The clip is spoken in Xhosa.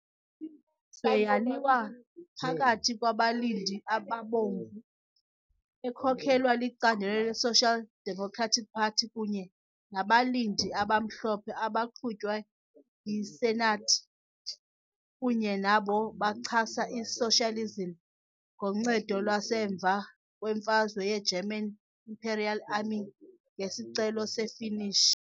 Imfazwe yaliwa phakathi kwabalindi abaBomvu, ekhokelwa licandelo le-Social Democratic Party, kunye nabalindi abaMhlophe, abaqhutywa yi-senate kunye nabo bachasa i-socialism ngoncedo lwasemva kwemfazwe yi-German Imperial Army ngesicelo se-Finnish.